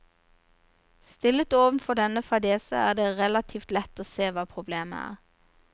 Stillet overfor denne fadese, er det relativt lett å se hva problemet er.